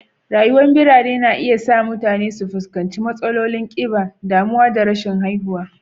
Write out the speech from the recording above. Rayuwar birane na iya sa mutane su fuskanci matsalolin kiba, damuwa da rashin haihuwa